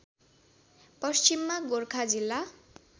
पश्चिममा गोरखा जिल्ला